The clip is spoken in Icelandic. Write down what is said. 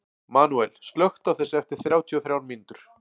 Manuel, slökktu á þessu eftir þrjátíu og þrjár mínútur.